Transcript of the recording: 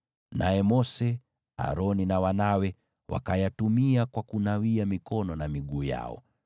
Naye Mose, Aroni na wanawe wakayatumia kwa kunawia mikono na miguu yao.